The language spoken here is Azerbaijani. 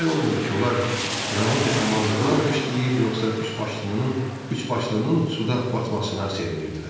Bilmək olmurdu ki, onlar Ramın qəhrəmanlığını alqışlayır, yoxsa üçbaşlının, üçbaşlının suda batmasına sevinirdilər.